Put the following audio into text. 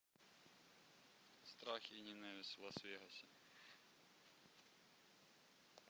страх и ненависть в лас вегасе